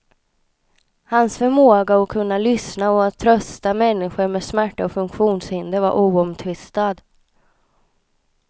Hans förmåga att kunna lyssna och att trösta människor med smärta och funktionshinder var oomtvistad.